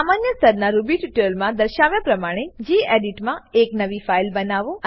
સામાન્ય સ્તરનાં રૂબી ટ્યુટોરીયલમાં દર્શાવ્યા પ્રમાણે ગેડિટ માં એક નવી ફાઈલ બનાવો